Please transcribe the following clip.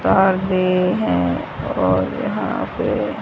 पर्दे हैं और यहां पे--